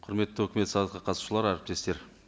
құрметті өкімет сағатқа қатысушылар әріптестер